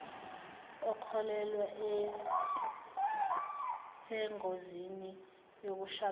okhulelwe isengozini yokushabalala